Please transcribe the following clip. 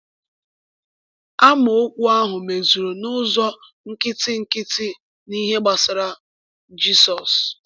Amaokwu ahụ mezuru n’ụzọ nkịtị nkịtị n’ihe gbasara Jizọs.